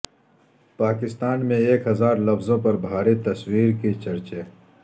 پاکستان میں ایک ہزار لفظوں پر بھاری تصویر کے چرچے